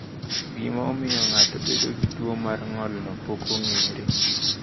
Gima omiyo ng’ato bedo gi tuo mar ng’olno pok ong’ere.